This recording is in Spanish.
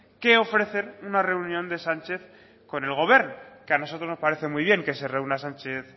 que ofrecer una reunión de sánchez con el gobern que a nosotros nos parece muy bien que se reúna sánchez